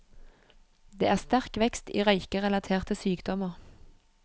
Det er sterk vekst i røykerelaterte sykdommer.